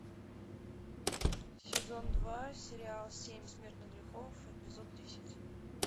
сезон два сериал семь смертных грехов эпизод десять